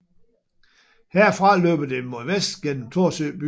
Herfra løber det mod vest gennem Thorsø by